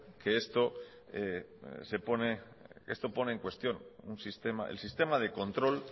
que esto pone en cuestión el sistema de control